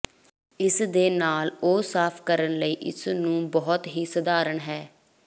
ਇਸ ਦੇ ਨਾਲ ਉਹ ਸਾਫ਼ ਕਰਨ ਲਈ ਇਸ ਨੂੰ ਬਹੁਤ ਹੀ ਸਧਾਰਨ ਹੈ